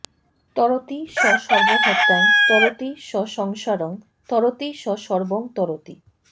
তরতি স সর্বহত্যাং তরতি স সংসারং তরতি স সর্বং তরতি